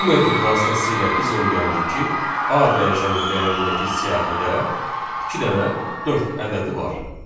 Bu metod vasitəsilə biz öyrəndik ki, A dəyişənin dəyərindəki siyahıda iki dənə dörd ədədi var.